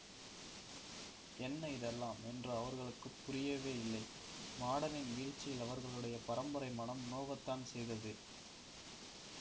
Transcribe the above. என்ன இதெல்லாம் என்று அவர்களுக்கு புரியவேயில்லை மாடனின் வீழ்ச்சியில் அவர்களுடைய பரம்பரை மனம் நோகத்தான் செய்தது